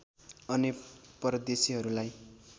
अन्य परदेशीहरूलाई